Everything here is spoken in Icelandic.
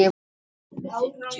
Hver sem það svo er.